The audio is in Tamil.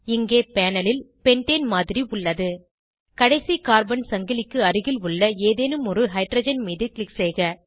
இங்கே பேனல் ல் பென்டேன் மாதிரி உள்ளது கடைசி கார்பன் சங்கிலிக்கு அருகில் உள்ள ஏதேனும் ஒரு ஹைட்ரஜன் மீது க்ளிக் செய்க